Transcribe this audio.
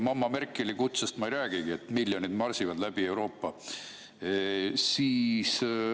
Mamma Merkeli kutsest ma ei räägigi, miljonid marsivad läbi Euroopa.